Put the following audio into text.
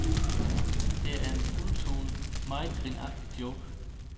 Det er en fuldtonet, meget grinagtig joke.